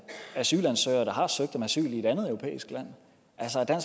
asylansøgere der har søgt om asyl i et andet europæisk land altså er